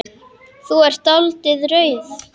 Þú er dáldið rauð.